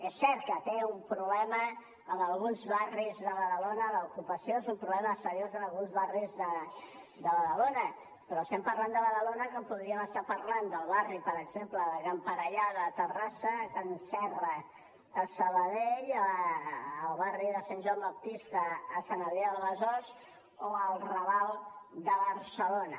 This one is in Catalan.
és cert que hi ha un problema en alguns barris de badalona l’ocupació és un problema seriós en alguns barris de badalona però estem parlant de badalona com podríem estar parlant del barri per exemple de can parellada a terrassa de can serra a sabadell el barri de sant joan baptista a sant adrià del besòs o el raval de barcelona